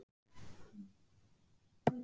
Dæmi: Aðaltillaga er um að kaupa stálskip.